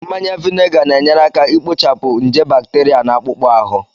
Mmanya vinega na-enyere aka ikpochapụ nje bacteria na akpụkpọ ahụ